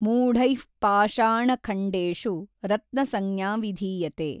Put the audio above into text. ಮೂಢೈಃ ಪಾಷಾಣಖಣ್ಡೇಷು ರತ್ನಸಂಜ್ಞಾ ವಿಧೀಯತೇ।